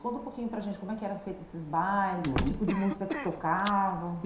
Conta um pouquinho para a gente como é que eram feitos esses bailes, uhum, que tipo de música que tocavam.